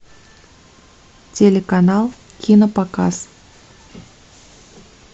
телеканал кинопоказ